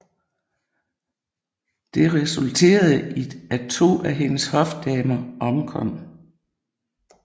Det resulterede i at to af hendes hofdamer omkom